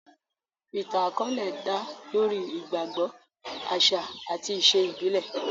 Ìtàn àkọ́ọ́lẹ̀ dá lórí ìgbàgbọ, àṣà àti ìṣe ìbílẹ̀